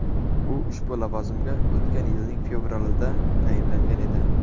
U ushbu lavozimga o‘tgan yilning fevralida tayinlangan edi .